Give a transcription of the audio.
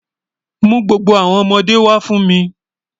Mú gbogbo awọn ọmọde wa fún mi.